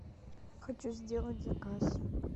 хочу сделать заказ